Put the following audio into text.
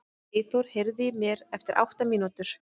Eyþór, heyrðu í mér eftir átta mínútur.